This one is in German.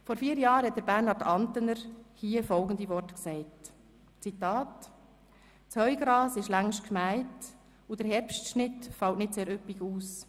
Vor vier Jahren sagte Grossrat Bernhard Antener hier folgende Worte – Zitat: «Das Heugras ist längst gemäht, und der Herbstschnitt fällt nicht sehr üppig aus.